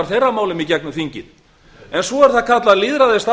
þjóðarinnar en með lýðskrumi og útúrsnúningum finna stjórnarherrarnir